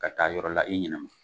Ka taa yɔrɔ la i ɲinama